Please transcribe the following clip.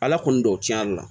Ala kɔni don o cɛna